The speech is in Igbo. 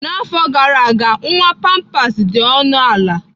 N'afọ gara aga, nwa pampers dị ọnụ ala.